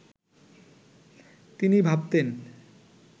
তিনি ভাবতেন